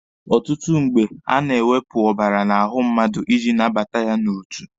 Ọtụtụ mgbe, a na-ewepụ ọbara n'ahụ mmadụ iji nabata ya n'otu.